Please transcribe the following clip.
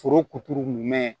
Foro kuturu nɛmɛ